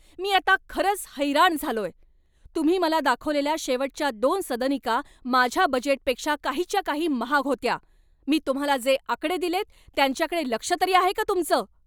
मी आता खरंच हैराण झालोय. तुम्ही मला दाखवलेल्या शेवटच्या दोन सदनिका माझ्या बजेटपेक्षा काहीच्या काही महाग होत्या. मी तुम्हाला जे आकडे दिलेत, त्यांच्याकडे लक्ष तरी आहे का तुमचं?